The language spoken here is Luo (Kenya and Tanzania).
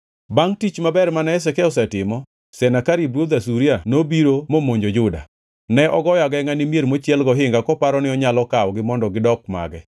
Bangʼ tich maber mane Hezekia otimo, Senakerib ruodh Asuria nobiro momonjo Juda. Ne ogoyo agengʼa ne mier mochiel gohinga koparo ni onyalo kawogi mondo gidok mage.